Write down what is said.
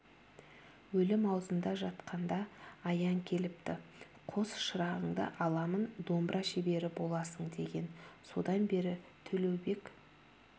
өлім аузында жатқанда аян келіпті қос шырағыңды аламын домбыра шебері боласың деген содан бері төлеубек